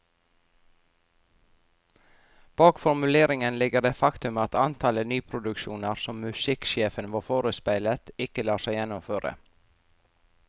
Bak formuleringen ligger det faktum at antallet nyproduksjoner som musikksjefen var forespeilet, ikke lar seg gjennomføre.